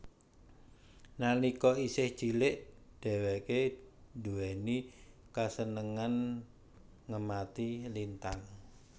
Nalika isih cilik dheweke duwéni kasenengan ngemati lintang